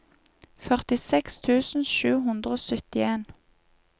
førtiseks tusen sju hundre og syttien